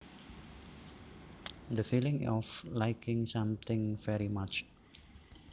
The feeling of liking something very much